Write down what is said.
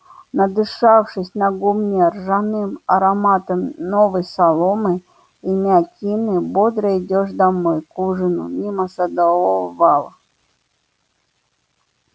надышавшись на гумне ржаным ароматом новой соломы и мякины бодро идёшь домой к ужину мимо садового вала